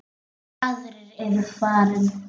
Allir aðrir eru farnir.